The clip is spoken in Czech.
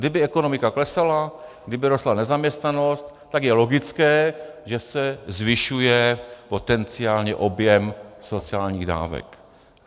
Kdyby ekonomika klesala, kdyby rostla nezaměstnanost, tak je logické, že se zvyšuje potenciálně objem sociálních dávek.